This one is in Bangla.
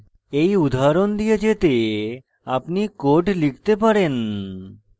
you উদাহরণ দিয়ে যেতে আপনি code লিখতে পারেন